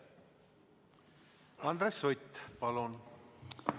Andres Sutt, palun!